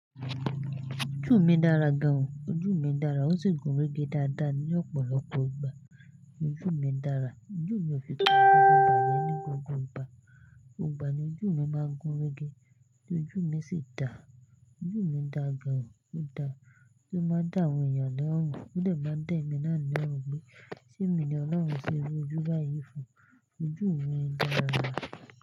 Ojú mi dára gan o. Ojú mi dára, ó sì gúnrégé dáadáa ní ọ̀pọ̀lọpọ̀ ìgbà. Ojú mi dára. Ojú mi ò fi tàn gúgún bàjẹ́ ní gbogbo ìgbà. Gbogbo igba ni ojú mi máa ń gúnrégé, tí ojú mi sì dà. Ojú mi dà gan o, ó dà. O máa dà àwọn ènìyàn ní orun, ó dè máa dà ẹ̀mi náà ní orun pe sèmi ni Ọlọ́run ṣe iru ojú báyìí fún. Ojú mi dára.